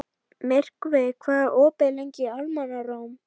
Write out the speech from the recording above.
Myrkvi, hvað er opið lengi í Almannaróm?